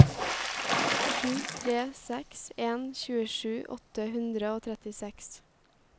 sju tre seks en tjuesju åtte hundre og trettiseks